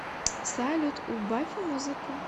салют убавь музыку